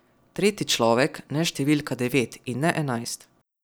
Tretji človek, ne številka devet in ne enajst.